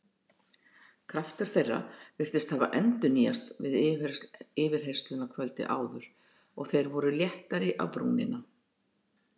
Kraftur þeirra virtist hafa endurnýjast við yfirheyrsluna kvöldið áður og þeir voru léttari á brúnina.